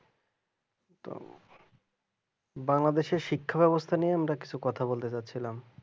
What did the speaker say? বাংলাদেশের শিক্ষার অবস্থায় নিয়ে কিছু কথা বলতে চেয়েছিলাম